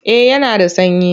Eh yana da sanyi.